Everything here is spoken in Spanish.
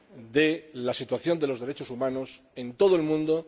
de la situación de los derechos humanos en todo el mundo